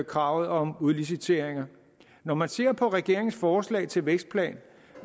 kravet om udlicitering når man ser på regeringens forslag til en vækstplan